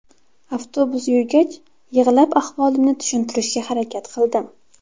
Avtobus yurgach, yig‘lab ahvolimni tushuntirishga harakat qildim.